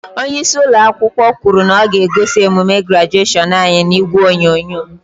Onyeisi ụlọakwụkwọ kwuru na ọ ga-egosi emume grajeshion anyị n'ìgwè onyonyo.